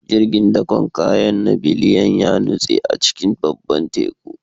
Jirgin dakon kaya na Biliyan ya nutse a cikin babban Teku